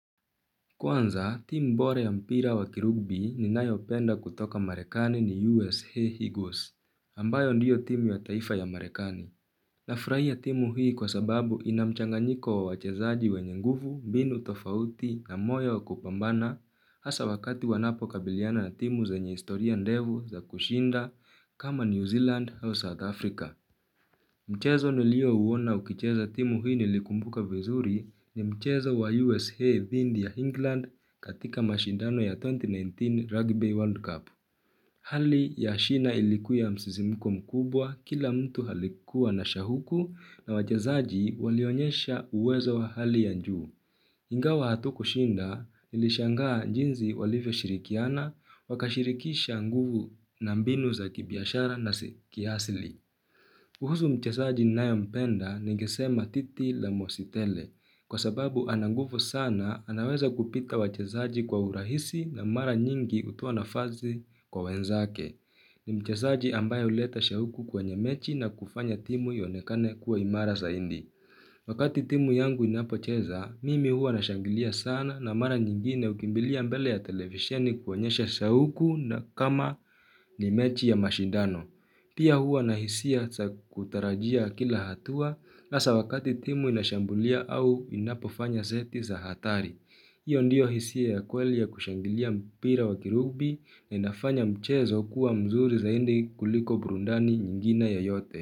Kwanza, timu bora ya mpira wa kirugbi ninayopenda kutoka Marekani ni USA Eagles, ambayo ndiyo timu wa taifa ya Marekani. Nafurahia timu hii kwa sababu ina mchanganyiko wa wachezaji wenye nguvu, mbinu tofauti na moyo wa kupambana hasa wakati wanapokabiliana na timu zenye historia ndefu za kushinda kama New Zealand au South Africa. Mchezo niliouwona ukicheza timu hii nilikumbuka vizuri ni mchezo wa USA dhidi ya England katika mashindano ya 2019 Rugby World Cup. Hali ya shina ilikuwa ya msisimiko mkubwa kila mtu alikuwa na shauku na wachezaji walionyesha uwezo wa hali ya juu. Ingawa hatukushinda nilishangaa jinzi walivyo shirikiana wakashirikisha nguvu na mbinu za kibiashara na kiasili. Kuhusu mchezaji nayempenda nigesema titi la mositele kwa sababu ana nguvu sana anaweza kupita wachezaji kwa urahisi na mara nyingi utoa nafasikwa wenzake. Ni mchezaji ambaye uleta shauku kwa nyamechi na kufanya timu ionekane kuwa imara zaidi. Wakati timu yangu inapocheza, mimi huwa nashangilia sana na mara nyingine ukimbilia mbele ya televisheni kuonyesha shauku na kama ni mechi ya mashidano. Pia huwa na hisia za kutarajia kila hatua hasa awakati timu inashambulia au inapofanya zeti za hatari. Iyo ndiyo hisia ya kweli ya kushangilia mpira wa kirugbi na inafanya mchezo kuwa mzuri zaidi kuliko burudani nyingina yoyote.